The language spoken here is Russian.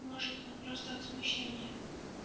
может он просто от смущения